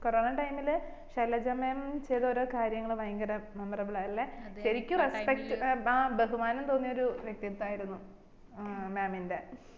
corona time ഇൽ Shailaja mam ചെയ്ത ഓരോ കാര്യങ്ങള് ഭയങ്കര memmorable ആ അല്ലെ ശെരിക്കും respect ആ ബഹുമാനം തോന്നിയ വ്യക്തിത്വം ആയിരുന്നു ഏർ mam ന്റെ